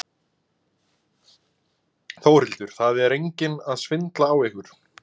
Þórhildur: Það er enginn að svindla á ykkur?